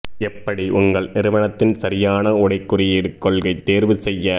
எப்படி உங்கள் நிறுவனத்தின் சரியான உடை குறியீடு கொள்கை தேர்வு செய்ய